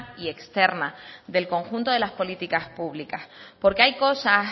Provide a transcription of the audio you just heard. y externa del conjunto de las políticas públicas porque hay cosas